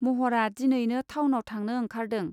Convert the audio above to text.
महरा दिनैनो थाउनाव थांनो ओंखारदों.